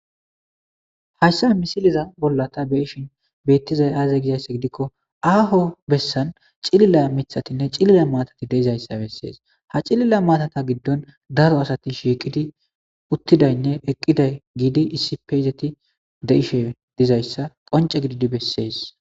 Haysa misileza bolla ta beyishn betizay aaze gizaysa gidikon aho besan cilila mithatine cilila matati de'izaysa beses ha cilila matata gidon daro asati shiqi uttidayne eqida gidi issippe izzeti de'izaysa qonce gididi beses